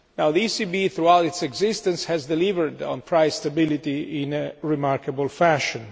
The ECB throughout its existence has delivered on price stability in a remarkable fashion.